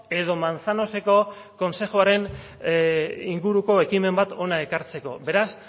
edo manzanoseko kontzejuaren inguruko ekimen bat hona ekartzeko beraz